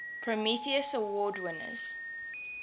prometheus award winners